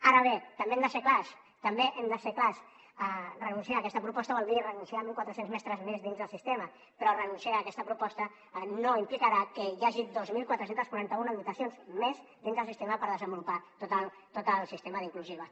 ara bé també hem de ser clars també hem de ser clars renunciar a aquesta proposta vol dir renunciar a mil quatre cents mestres més dins del sistema però renunciar a aquesta proposta no implicarà que hi hagi dos mil quatre cents i quaranta un dotacions més dins el sistema per desenvolupar tot el sistema d’inclusiva